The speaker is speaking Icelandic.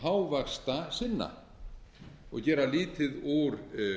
taum hávaxtasinna og gera lítið úr